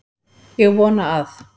Ég vona að